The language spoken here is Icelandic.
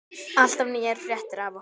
Alltaf nýjar fréttir af okkur.